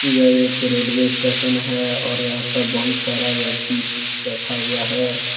यह एक railway station है और यहां पर बहुत सारा व्यक्ति बैठा हुआ है।